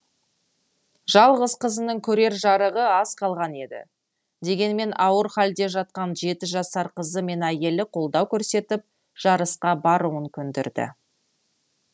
жалғыз қызының көрер жарығы аз қалған еді дегенмен ауыр халде жатқан жеті жасар қызы мен әйелі қолдау көрсетіп жарысқа баруын көндірді